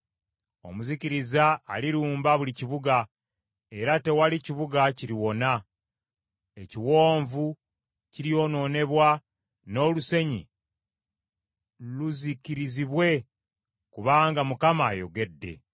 Omuzikiriza alirumba buli kibuga, era tewali kibuga kiriwona. Ekiwonvu kiryonoonebwa n’olusenyu luzikirizibwe kubanga Mukama ayogedde.